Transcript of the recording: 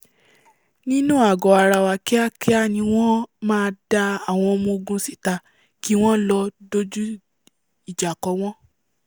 nínú àgọ́ ara kíákíá ni wọ́n máa da àwọn ọmọ-gun síta kí wọn lọ dojú ìjà ko wọ́n